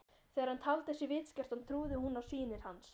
Þegar hann taldi sig vitskertan trúði hún á sýnir hans.